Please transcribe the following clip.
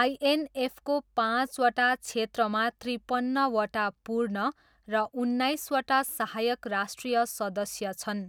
आइएनएफको पाँचवटा क्षेत्रमा त्रिपन्नवटा पूर्ण र उन्नाइसवटा सहायक राष्ट्रिय सदस्य छन्।